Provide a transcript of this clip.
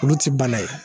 Olu ti bana ye